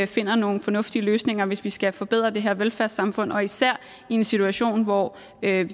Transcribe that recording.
finder nogle fornuftige løsninger hvis vi skal forbedre det her velfærdssamfund og især i en situation hvor